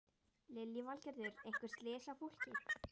Lillý Valgerður: Einhver slys á fólki?